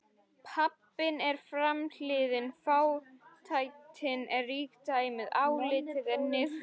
Pabbinn er framhliðin, fátæktin eða ríkidæmið, álitið eða niðurlægingin.